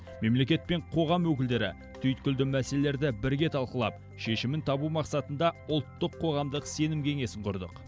мемлекет пен қоғам өкілдері түйткілді мәселелерді бірге талқылап шешімін табу мақсатында ұлттық қоғамдық сенім кеңесін құрдық